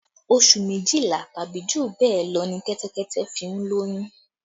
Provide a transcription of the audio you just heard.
Oṣù méjìlá tàbí jù bẹ́ẹ̀ lọ ní Kẹ́tẹ́kẹ́tẹ́ fi ń lóyún